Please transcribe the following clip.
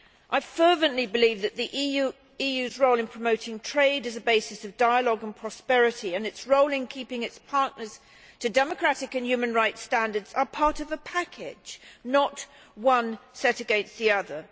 I fervently believe that the EU's role in promoting trade as a basis of dialogue and prosperity and its role in keeping its partners to democratic and human rights standards are part of a package, not one set against the other.